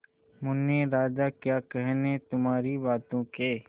मुन्ने राजा क्या कहने तुम्हारी बातों के